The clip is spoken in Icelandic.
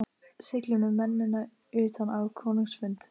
Siglið með mennina utan á konungs fund.